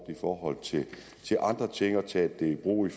i forhold til andre ting og taget i brug i